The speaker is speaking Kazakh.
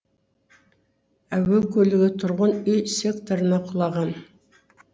әуе көлігі тұрғын үй секторына құлаған